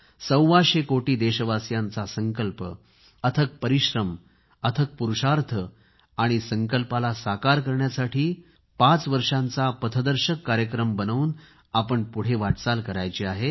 सव्वाशे कोटी देशवासियांचा संकल्प अथक परिश्रम अथक पुरूषार्थ आणि संकल्पाला साकार करण्यासाठी पाच वर्षाचा पथदर्शक कार्यक्रम बनवून आपण पुढे वाटचाल करायची आहे